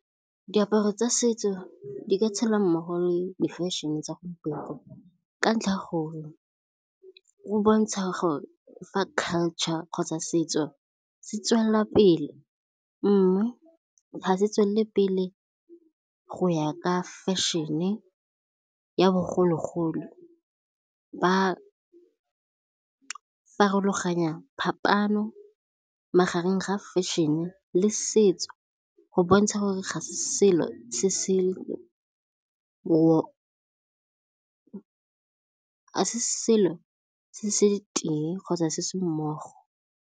Diaparo tsa setso di ka tshela mmogo le di-fashion-e tsa gompieno, ka ntlha go bontsha gore fa culture kgotsa setso se tswelela pele. Mme ga se tswelele pele go ya ka fashion-e ya bogologolo, ba farologanya phapano magareng ga fashion-e le setso go bontsha gore ga se selo se se tee kgotsa se se mmogo.